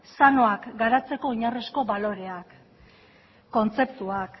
sanoak garatzeko oinarrizko baloreak kontzeptuak